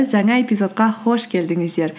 жаңа эпизодқа қош келдіңіздер